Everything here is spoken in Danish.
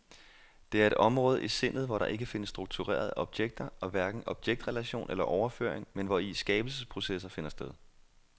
Det er et område i sindet, hvor der ikke findes strukturerede objekter og hverken objektrelation eller overføring, men hvori skabelsesprocesser finder sted.